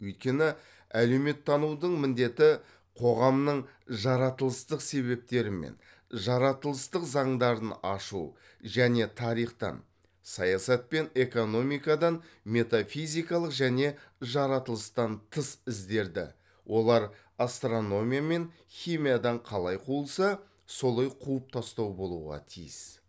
өйткені әлеуметтанудың міндеті коғамның жаратылыстық себептері мен жаратылыстық заңдарын ашу және тарихтан саясат пен экономикадан метафизикалық және жаратылыстан тыс іздерді олар астрономия мен химиядан қалай қуылса солай қуып тастау болуға тиіс